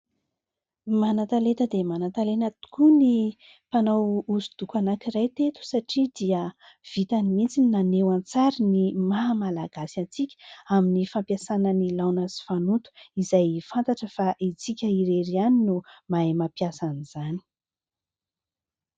Manan-talenta dia manan-talenta tokoa ny mpanao hosodoko anankiray teto satria dia vitany mihitsy ny naneho an-tsary ny mahamalagasy antsika amin'ny fampiasana ny laona sy fanoto izay fantatra fa isika irery ihany no mahay mampiasa an'izany.